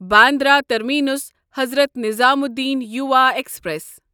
Bandra terminus Hazrat Nizamuddin Yuva express